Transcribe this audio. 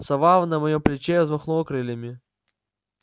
сова на моем плече взмахнула крыльями